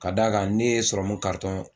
Ka d'a kan ne ye sɔrɔmu karitɔn